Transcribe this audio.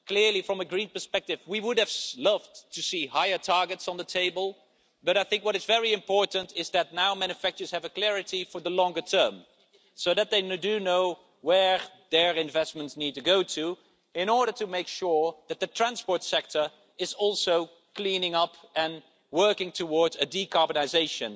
Clearly, from a Green perspective, we would have loved to see higher targets on the table, but I think what is very important is that now manufacturers have clarity for the longer term so that they know where their investments need to go in order to make sure that the transport sector is also cleaning up and working towards decarbonisation.